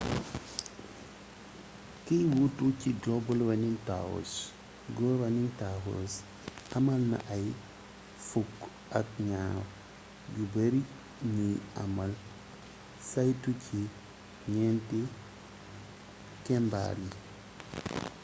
kiy wuutu ci global running tours go running tours amalna ay fukk ak ñaar yu beeri ñuy amal saytu ci ñénti kembaar yi